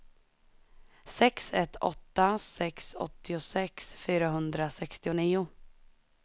sex ett åtta sex åttiosex fyrahundrasextionio